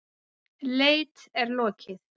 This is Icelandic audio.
Leit er lokið.